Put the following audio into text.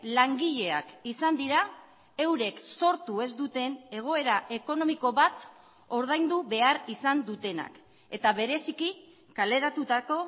langileak izan dira eurek sortu ez duten egoera ekonomiko bat ordaindu behar izan dutenak eta bereziki kaleratutako